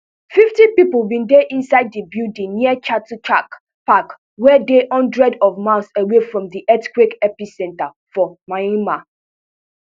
fifty pipo bin dey inside di building near chatuchak park wey dey hundreds of miles away from di earthquake epicentre for myanmar